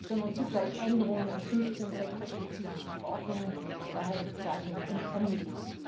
sondern zugleich Änderungen an 15 sektorspezifischen Verordnungen daher die Bezeichnung Omnibus.